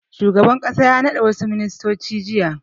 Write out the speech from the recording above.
Shugaban ƙasa ya naɗa wasu ministoci jiya.